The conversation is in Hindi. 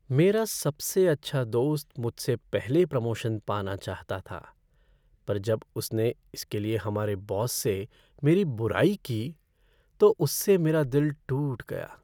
मेरा सबसे अच्छा दोस्त मुझसे पहले प्रमोशन पाना चाहता था पर जब उसने इसके लिए हमारे बॉस से मेरी बुराई की तो उससे मेरा दिल टूट गया।